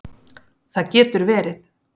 Það getur verið